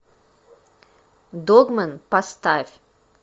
догмэн поставь